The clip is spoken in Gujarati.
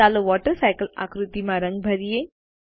ચાલો વોટરસાયકલ આકૃતિમાં રંગ ભરીયે